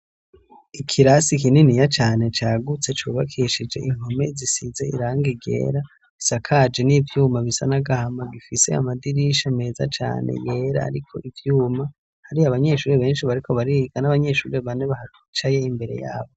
Ikirasi kininiya cane cagutse cubakishije impome zisize iranga ryera isakaje n'ivyuma bisa n'agahama gifise amadirisha meza cane yera ariko ivyuma, hari abanyeshure benshi bariko bariga n'abanyeshure bane bicaye imbere yabo.